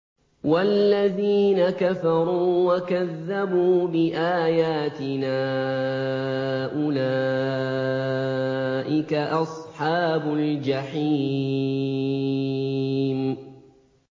وَالَّذِينَ كَفَرُوا وَكَذَّبُوا بِآيَاتِنَا أُولَٰئِكَ أَصْحَابُ الْجَحِيمِ